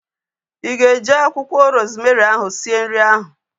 Ị ga-eji akwụkwọ rozmerị ahu sie nri ahu?